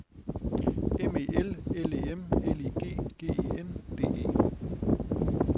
M E L L E M L I G G E N D E